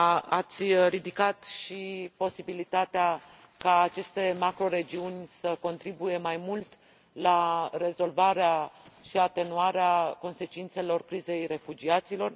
Ați ridicat și posibilitatea ca aceste macroregiuni să contribuie mai mult la rezolvarea și atenuarea consecințelor crizei refugiaților.